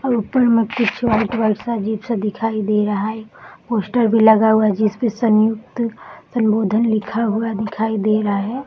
और उपर में कुछ वाइट वाइट सा अजीबसा दिखाई दे रहा है। पोस्टर भी लगा हुआ जिसपे संयुक्त संबोधन लिखा हुआ दिखाई दे रहा है।